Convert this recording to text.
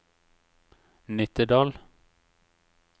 Nittedal